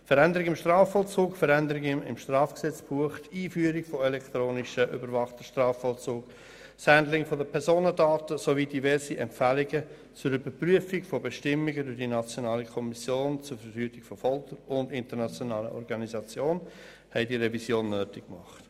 Veränderungen im Strafvollzug, Veränderungen im Strafgesetzbuch, die Einführung von elektronisch überwachtem Strafvollzug, das Handling von Personendaten sowie diverse Empfehlungen zur Überprüfung von Bestimmungen durch die nationale Kommission zur Verhütung von Folter und internationalen Organisationen haben diese Revision nötig gemacht.